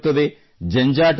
ಸಂಬಳ ಇರುತ್ತದೆ